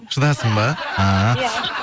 шыдасын ба ааа